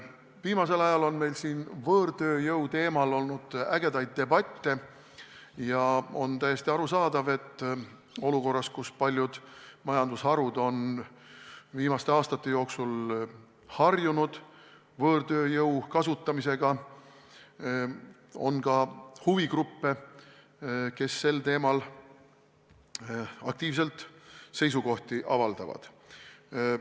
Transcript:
Viimasel ajal on meil võõrtööjõu teemal olnud ägedaid debatte ja on täiesti arusaadav, et olukorras, kus paljud majandusharud on viimaste aastate jooksul harjunud võõrtööjõu kasutamisega, on ka huvigruppe, kes sel teemal aktiivselt seisukohti avaldavad.